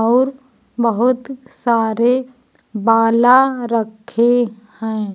और बहुत सारे बाला रखे हैं।